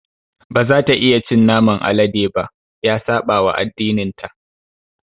Ba za ta iya cin naman alade ba. Ya saɓawa addininta.